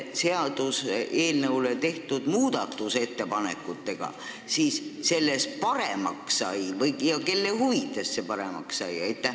Mida nende muudatusettepanekutega paremaks tehti ja kelle huvides see paremaks sai?